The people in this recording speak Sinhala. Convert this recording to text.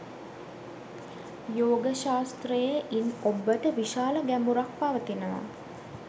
යෝග ශාස්ත්‍රයේ ඉන් ඔබ්බට විශාල ගැඹුරක් පවතිනවා.